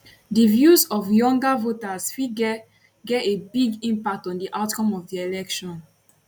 di views of younger voters fit get get a big impact on di outcome of di election